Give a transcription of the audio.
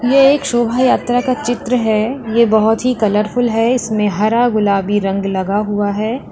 ये एक शोभा यात्रा का चित्र है ये बहुत ही कलरफुल है इसमें हरा गुलाबी रंग लगा हुआ है।